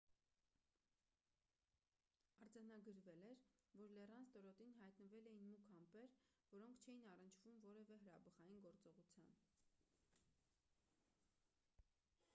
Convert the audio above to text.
արձանագրվել էր որ լեռան ստորոտին հայտնվել էին մուգ ամպեր որոնք չէին առնչվում որևէ հրաբխային գործողության